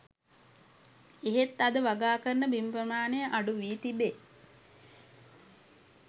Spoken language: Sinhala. එහෙත් අද වගාකරන බිම් ප්‍රමාණය අඩුවී තිබේ